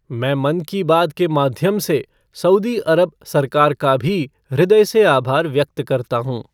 मैं मन की बात के माध्यम से सऊदी अरब सरकार का भी ह्रदय से आभार व्यक्त करता हूँ।